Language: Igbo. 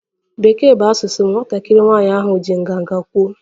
Bekee bụ asụsụ m, nwatakịrị nwanyị ahụ ji nganga kwuo